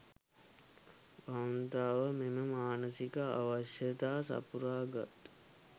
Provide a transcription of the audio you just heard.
කාන්තාව මෙම මානසික අවශ්‍යතාව සපුරාගත්